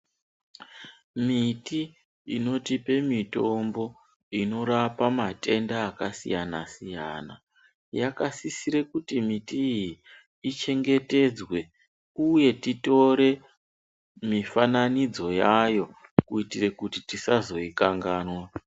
Miti inotipe mitombo inorapa matenda akasiyana siyana yakasisire kuti miti iyii ichengetedzwe uye titore mifananodzo yayo kuitire kuti tosazoikanganwa.